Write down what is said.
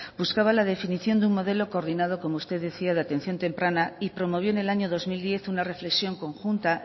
buscaba la definición de un modelo coordinado como usted decía de atención temprana y promovió en el año dos mil diez una reflexión conjunta